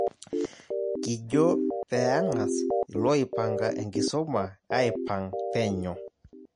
Kijo peeng'as ilooipanga enkisuma aipang' penyo